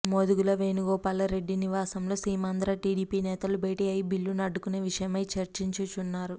మోదుగుల వేణుగోపాల్ రెడ్డి నివాసంలో సీమాంధ్ర టిడిపి నేతలు భేటీ అయి బిల్లును అడ్డుకునే విషయమై చర్చిస్తున్నారు